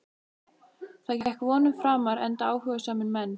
Það gekk vonum framar enda áhugasamir menn.